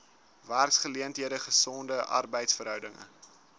werksgeleenthede gesonde arbeidsverhoudinge